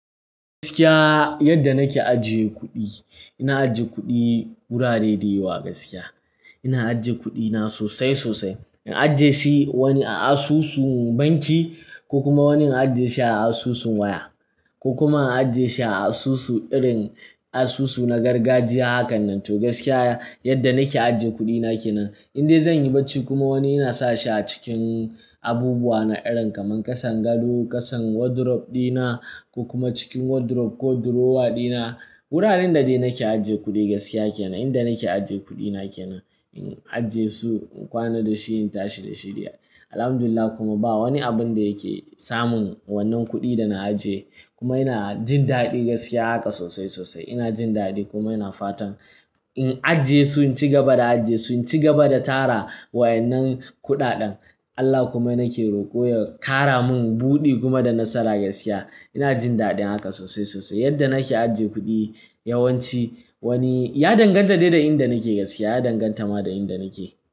Gaskiya yadda nake ajiye kuɗi, ina ajiye kuɗi wurare da yawa gaskiya. Ina ajiye kuɗina sosai sosai. Ina ajiye shi wani a asusu banki ko kuma wani ina ajiye shi a asusun waya ko kuma ina ajiye shi a asusu irin asusu na gargajiya hakan nan. To gaskiya yadda nake ajiye kuɗina kenan. Indai zan yi bacci kuma wani ina sa shi a cikin abubuwa na irin kamar ƙasan gado, ƙasan wardrobe dina ko kuma cikin wardrobe ko drawer dina. Wuraren da dai nake ajiye kuɗi gaskiya kenan. Inda nake ajiye kuɗina kenan. In ajiye su, in kwana da shi, in tashi da shi dai. Alhamdulillah kuma ba wani abun da yake samun wannan kuɗi dana ajiye. Kuma ina jin daɗi gaskiya haka sosai sosai. Ina jin daɗi kuma ina fatan in ajiye su, in ci gaba da ajiye su, in ci gaba da tara wa'annan kuɗaɗen. Allah kuma nake roko ya ƙara mun buɗi kuma da nasara gaskiya. Ina jin daɗin haka sosai sosai yadda nake ajiye kuɗi. Yawan ci wani ya danganta dai da inda nake gaskiya. Ya danganta ma da inda nake.